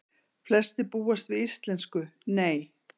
Flestir búast við íslensku Nei